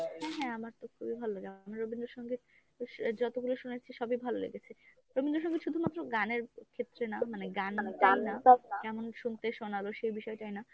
হ্যাঁ হ্যাঁ আমারতো খুবই ভালো লাগে। রবীন্দ্রসঙ্গীত যতগুলো শুনেছি সবই ভালো লেগেছে রবীন্দ্রসঙ্গীত শুধুমাত্র গানের ক্ষেত্রে না মানে গানটা না কেমন শুনতে শোনাল সেই বিষয়াটাই না